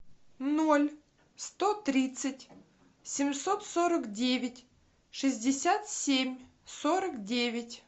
ноль сто тридцать семьсот сорок девять шестьдесят семь сорок девять